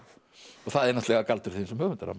og það er náttúrulega galdur þinn sem höfundar